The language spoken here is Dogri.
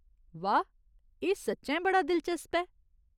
वाह ! एह् सच्चैं बड़ा दिलचस्प ऐ।